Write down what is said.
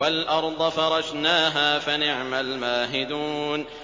وَالْأَرْضَ فَرَشْنَاهَا فَنِعْمَ الْمَاهِدُونَ